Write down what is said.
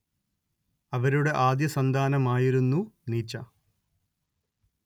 അവരുടെ ആദ്യസന്താനമായിരുന്നു നീച്ച